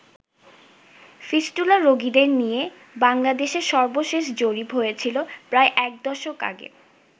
Fistula রোগীদের নিয়ে বাংলাদেশে সর্বশেষ জরিপ হয়েছিল প্রায় একদশক আগে।